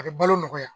A bɛ balo nɔgɔya